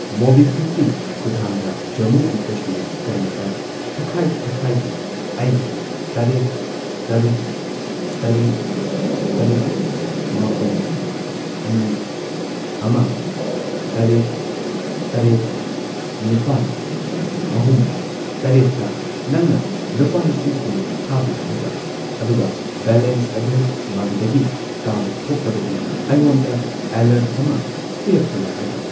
ꯃꯣꯕꯤꯀ꯭ꯋꯤꯛꯀꯤ ꯈꯨꯊꯥꯡꯗ ꯖꯝꯃꯨ ꯑꯦꯟ ꯀꯁꯃꯤꯔ ꯕꯦꯡꯛꯇ ꯊꯥꯈꯥꯏ ꯊꯥꯈꯥꯏꯒꯤ ꯑꯩꯒꯤ ꯇꯔꯦꯠ, ꯇꯔꯨꯛ, ꯇꯔꯦꯠ, ꯇꯔꯨꯛ, ꯃꯥꯄꯟ, ꯑꯅꯤ, ꯑꯃ, ꯇꯔꯦꯠ, ꯇꯔꯦꯠ, ꯅꯤꯄꯥꯟ, ꯑꯍꯨꯝ, ꯇꯔꯦꯠꯇ ꯅꯪꯅ ꯂꯨꯄꯥ ꯂꯤꯁꯤꯡ ꯀꯨꯟ ꯊꯥꯕ ꯌꯥꯒꯗ꯭ꯔꯥ? ꯑꯗꯨꯒ ꯕꯦꯂꯦꯟꯁ ꯑꯗꯨ ꯃꯗꯨꯗꯒꯤ ꯇꯥꯕ ꯊꯣꯛꯂꯕꯗꯤ ꯑꯩꯉꯣꯟꯗ ꯑꯦꯂꯔꯠ ꯑꯃ ꯄꯤꯔꯛꯄ ꯌꯥꯒꯗ꯭ꯔꯥ?